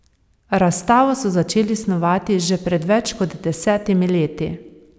Razstavo so začeli snovati že pred več kot desetimi leti.